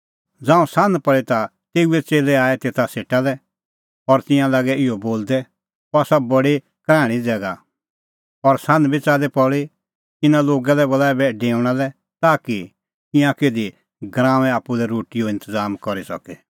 ज़ांऊं सान्ह पल़ी ता तेऊए च़ेल्लै आऐ तेऊ सेटा लै और तिंयां लागै इहअ बोलदै अह आसा बडी कराहणीं ज़ैगा और सान्ह बी च़ाल्ली पल़ी इना लोगा लै बोल ऐबै डेऊणा लै ताकि ईंयां किधी गराऊंऐं आप्पू लै रोटीओ इंतज़ाम करी सके